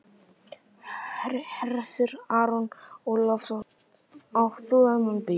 Hersir Aron Ólafsson: Átt þú þennan bíl?